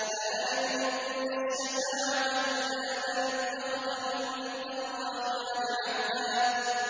لَّا يَمْلِكُونَ الشَّفَاعَةَ إِلَّا مَنِ اتَّخَذَ عِندَ الرَّحْمَٰنِ عَهْدًا